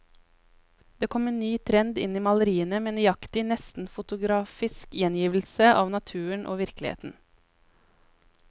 Det kom en ny trend inn i maleriene, med nøyaktig, nesten fotografisk gjengivelse av naturen og virkeligheten.